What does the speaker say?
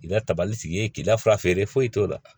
I ka tabali sigi ye k'i lafiya feere foyi t'o la